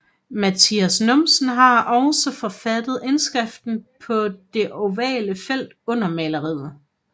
Matias Numsen har også forfattet indskriften på det ovale felt under maleriet